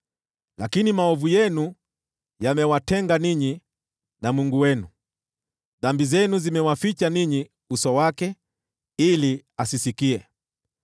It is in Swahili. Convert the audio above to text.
Lakini maovu yenu yamewatenga ninyi na Mungu wenu, dhambi zenu zimewaficha ninyi uso wake, ili asisikie.